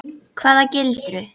Hvaða gildru?